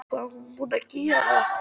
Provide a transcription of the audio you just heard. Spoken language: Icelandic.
Hvað er hún búin að gera!